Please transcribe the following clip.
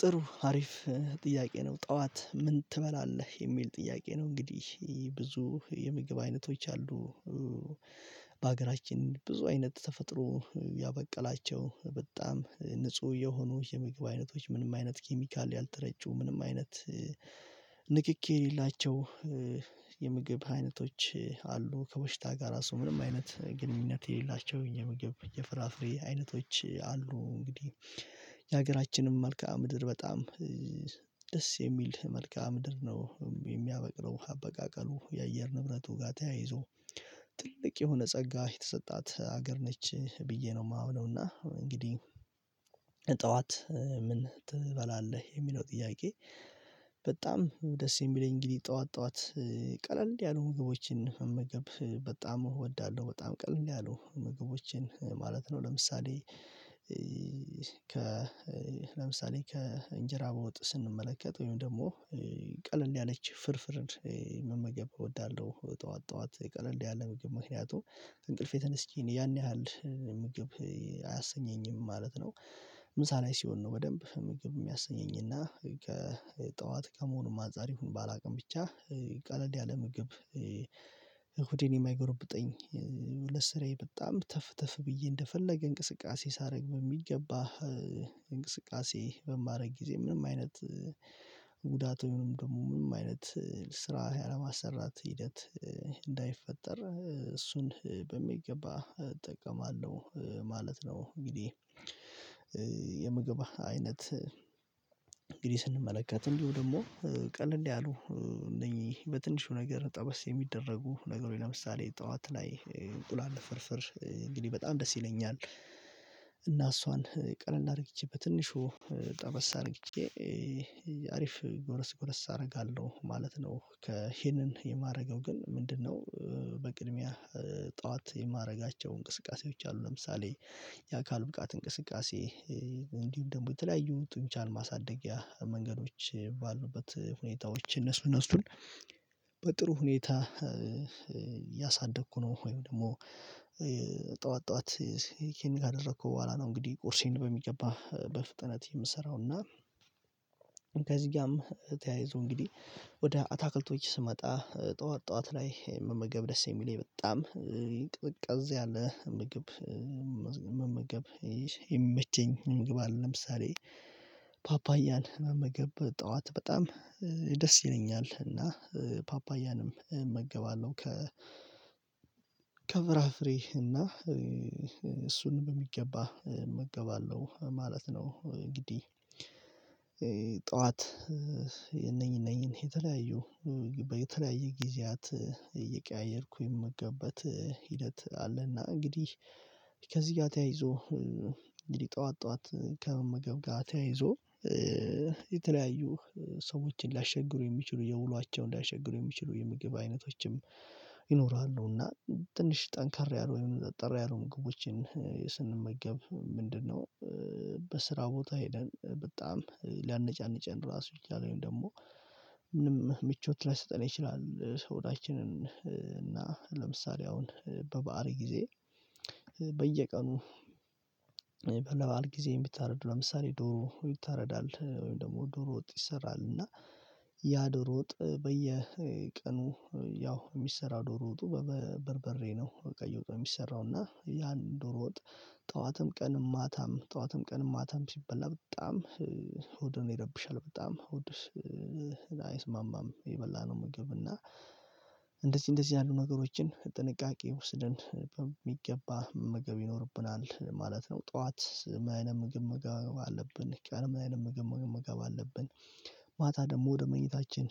ጥሩ አሪፍ ጥያቄ ነው ጠዋት ምን ትበላለህ የሚል ጥያቄ ነው እንግዲህ ብዙ የምግብ አይነቶች አሉ። በሀገራችን ብዙ አይነት ተፈጥሮ ያበቀላቸው በጣም ንጹህ የሆኑ የምግብ አይነቶች ምንም አይነት ኬሚካል ያልተረጩ ምንም አይነት ንክኪ የሌላቸው የምግብ አይነቶች አሉ ከበሽታ ጋር ራሱ ምንም አይነት ግንኙነት የሌላቸው የምግብ የፍራፍሬ አይነቶች አሉ። እንግዲህ የሀገራችንም መልከ ምድር በጣም ደስ የሚል መልከኣ ምድር ነው የሚያበቅለው አበቃቀሉ የአየር ንብረቱ ጋር ተያይዞ ጥልቅ የሆነ ጸጋ የተሰጣት ሀገር ነች ብዬ ነው የማምነው። እና እንግዲህ ጠዋት ምን ትበላለህ የሚለው ጥያቄ? በጣም ደስ የሚለኝ እንግዲህ ጠዋት ጠዋት ቀለል እንዲህ ያሉ ምግቦችን መመገብ በጣም እወዳለሁ። በጣም ቀለል ያሉ ኧኧ ምግቦችን ማለት ነው። ለምሳሌ ከ ለምሳሌ ከእንጀራ በውጥ ስንመለከት ወይም ደግሞ ቀለል ያለች ፍርፍርን መመገብ እወዳለሁ። ጠዋት ጠዋት ቀለል ያለ ምግብ ምክንያቱም እንቅልፌ ተነስቼ ያን ያህል ምግብ አያሰኘኝም ማለት ነው። ምሳ ላይ ሲሆን ነው በደንብ ምግብ የሚያሰኘኝ እና ከጠዋት ከመሆኑ አንፃር ይሁን ባላውቅም ብቻ ቀለል ያለ ምግብ ሆዴን የማይጎረብጠኝ ለስ ስራዬ በጣም ተፍ ተፍ ብዬ እንደፈለገ እንቅስቃሴ ሳረግ በሚገባ። እንቅስቃሴ በሜረግ ጊዜ ምንም አይነት ጉዳት ደግሞ ምንም አይነት ስራ ያለማሰራት ሂደት እንዳይፈጠር እሱን በሚገባ እጠቀማለሁ ማለት ነው። እንግዲህ ኧ የምግብ አይነት እንግዲህ ስንመለከት እንዲሁ ደሞ ቀለል ያሉ እነኚህ በትንሹ ነገር ጠበስ የሚደረጉ ነገሮች ለምሳሌ ጠዋት ላይ እንቁላል ፍርፍር እንግዲህ በጣም ደስ ይለኛል። እና እሷን ቀለል አድርጌቼ በትንሹ ጠበስ አድርጌ አሪፍ ጎረስ ጎረስ አረጋለሁ ማለት ነው። ከ ይሄንን የማረገው ግን ምንድነው? በቅድሚያ ጠዋት የማረጋቸው እንቅስቃሴዎች አሉ ለምሳሌ የአካል ብቃት እንቅስቃሴ እንዲሁም ደግሞ በተለያዩ ጡንቻል ማሳደጊያ መንገዶች ባሉበት ሁኔታዎች እነሱ እነሱን በጥሩ ሁኔታ ያሳደግኩ ነው። ወይም ደግሞ ጠዋት ጠዋትይሄን ካደረኩ በኋላ ነው እንግዲህ ቁርሴን በሚገባ በፍጥነት የምሰራውና። ከዚህ ጋም ተያይዞ እንግዲህ ወደ አታክልቶች ስመጣ ጠዋት ጠዋት ላይ መመገብ ደስ የሚለኝ በጣም ቅቅዝ ያለ ምግብ መመዝ መመገብ የሚመቸኝ ምግብ አለ ለምሳሌ ፓፓያል መመገብ ጠዋት በጣም ደስ ይለኛል። እና ፓፓያንም እመገባለሁ ከ ከፍራፍሬ እና እሱን በሚገባ እመገባለሁ ማለት ነው። እንግዲህ ጠዋት እነኚህ ነኚህን የተለያዪ በተለያየ ጊዜያት እየቀያየርኩ የምገባበት ሂደት አለና እንግዲህ ከዚህ ጋር ተያይዞ እንግዲህ ጠዋት ጠዋት ከመመገብ ጋር ተያይዞ ኧ የተለያዩ ሰዎችን ሊያሸግሩ የሚችሉ የውሏቸውን ሊያሸግሩ የሚችሉ የምግብ አይነቶችም ይኖራሉ። እና ትንሽ ጠንካራ ያሉ ጠንካራ ያሉ ምግቦችን ስንመገብ ምንድነው በስራ ቦታ ሄደን በጣም ሊያነጫንጭን ራሱ ይችላል። ወይም ደግሞ ምንም ምቾት ላይሰጠን ይችላል። ሰውዳችንን እና ለምሳሌ አሁን በባኣል ጊዜ በየቀኑ ለበኣል ጊዜ የምታረድ ለምሳሌ ዶሮ ይታረዳል ወይም ደግሞ ዶሮ ወጥ ይሰራል እና ያ ዶሮ ወጥ በየቀኑ ያው የሚሰራ ዶሮ ወጡ በበርበሬ ነው በቀዩ የሚሰራው እና ያን ዶሮ ወጥ ጠዋትም ቀንም ማታም ጠዋትም ቀንም ማታም ሲበላ በጣም ሆድ ይረብሻል በጣም ሆድ ውስጥ አይስማማም። የበላነው ምግብ እና በየቀኑ ለበኣል ጊዜ የምታረድ ለምሳሌ ዶሮ ይታረዳል ወይም ደሞ ዶሮ ወጥ ይሰራል እና ያ ዶሮ ወጥ በየቀኑ ያው የሚሰራ ዶሮ ወጡ በበርበሬ ነው በቃ እየውጠው የሚሰራው እና ያን ዶሮ ወጥ ጠዋትም ቀንም ማታም ጠዋትም ቀንም ማታም ሲበላ በጣም ወደ እኔ ይረብሻል በጣም ወድ አይስማማም የበላነው ምግብ እና ምንም ምቾት ላይሰጠን ይችላል። ሰውነታችንን እና ለምሳሌ አሁን በባል ጊዜ እንደዚህ ያሉ ነገሮችን ጥንቃቄ ውስድን በሚገባ ምግብ ይኖርብናል ማለት ነው። ጠዋት ምን አይነት ምግብ ምግብ አለብን? ምን አይነት ምግብ ምግብ አለብን? ማታ ደግሞ ወደ መኝታችን